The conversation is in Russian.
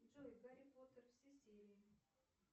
джой гарри поттер все серии